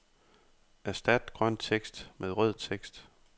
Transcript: Erstat grøn tekst med rød tekst.